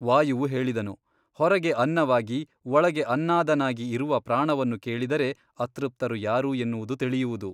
ವಾಯುವು ಹೇಳಿದನು ಹೊರಗೆ ಅನ್ನವಾಗಿ ಒಳಗೆ ಅನ್ನಾದನಾಗಿ ಇರುವ ಪ್ರಾಣವನ್ನು ಕೇಳಿದರೆ ಅತೃಪ್ತರು ಯಾರು ಎನ್ನುವುದು ತಿಳಿಯುವುದು.